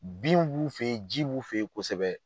Binw b'u fe yen, ji b'u fe yen kosɛbɛ